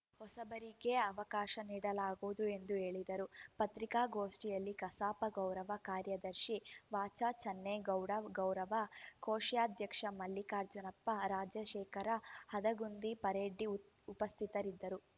ಹೊಸಬರಿಗೆ ಅವಕಾಶ ನೀಡಲಾಗುವುದು ಎಂದು ಹೇಳಿದರು ಪತ್ರಿಕಾಗೋಷ್ಠಿಯಲ್ಲಿ ಕಸಾಪ ಗೌರವ ಕಾರ್ಯದರ್ಶಿ ವಚಚನ್ನೇಗೌಡ ಗೌರವ ಕೋಶಾಧ್ಯಕ್ಷ ಮಲ್ಲಿಕಾರ್ಜುನಪ್ಪ ರಾಜಶೇಖರ ಹದಗುಂದಿ ಪರೆಡ್ಡಿ ಉಪಸ್ಥಿತರಿದ್ದರು